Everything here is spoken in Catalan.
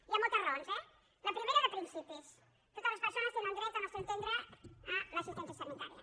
hi ha moltes raons eh la primera de principis totes les persones tenen dret al nostre entendre a l’assistència sanitària